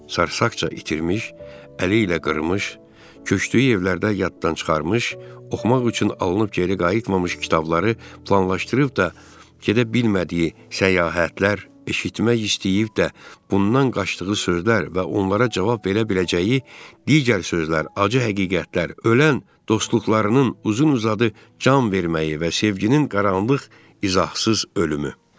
Sarsaqca itirmiş, əli ilə qırmış, köçdüyü evlərdə yaddan çıxarmış, oxumaq üçün alınıb geri qayıtmamış kitabları planlaşdırıb da gedə bilmədiyi səyahətlər, eşitmək istəyib də bundan qaçdığı sözlər və onlara cavab verə biləcəyi digər sözlər, acı həqiqətlər, ölən dostluqlarının uzun-uzadı can verməyi və sevginin qaranlıq izahsız ölümü.